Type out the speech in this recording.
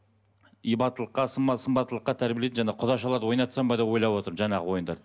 ибаттылыққа сымбаттылыққа тәрбиелейтін жаңағы құдашаларды ойнатсам ба деп отырмын жаңағы ойындарды